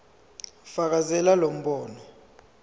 fakazela lo mbono